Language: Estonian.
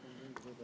Aitäh!